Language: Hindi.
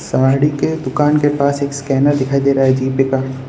साड़ी के दुकान के पास एक स्कैनर दिखाई दे रहा है जी पे का।